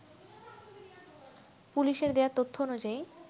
পুলিশের দেয়া তথ্য অনুযায়ী